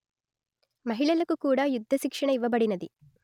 మహిళలకు కూడా యుద్ధ శిక్షణ ఇవ్వబడినది